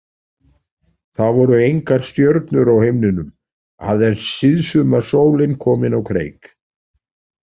Það voru engar stjörnur á himninum, aðeins síðsumarsólin komin á kreik.